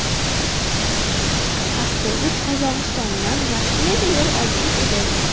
Avtobus Qozog‘istondan Rossiyaga yo‘l olgan edi.